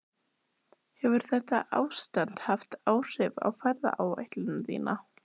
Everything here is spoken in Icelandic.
Hrund: Hefur þetta ástand haft áhrif á ferðaáætlun þína?